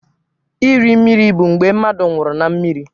Iri mmiri bụ mgbe mmadụ nwụrụ na mmiri.